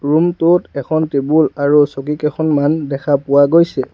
Room টোত এখন table আৰু চকী কেইখনমান দেখা পোৱা গৈছে।